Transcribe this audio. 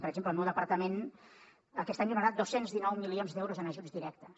per exemple el meu departament aquest any donarà dos cents i dinou milions d’euros en ajuts directes